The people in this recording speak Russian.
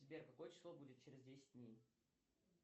сбер какое число будет через десять дней